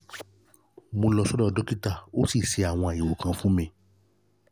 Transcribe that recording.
mo lọ sọ́dọ̀ dókítà ó sì ṣe àwọn àyẹ̀wò kan fún mi